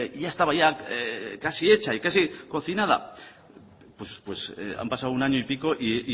ya estaba casi hecha y casi cocinada pues han pasado un año y pico y